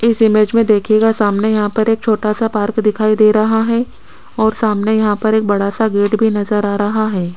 इस इमेज में देखियेगा सामने यहां पर एक छोटा सा पार्क दिखाई दे रहा है और सामने यहां पर एक बड़ा सा गेट भी नजर आ रहा है।